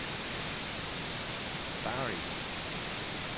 Barrit